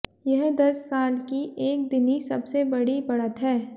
यह दस साल की एक दिनी सबसे बड़ी बढ़त है